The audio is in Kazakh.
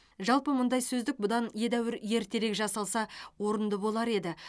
жалпы мұндай сөздік бұдан едәуір ертерек жасалса орынды болар еді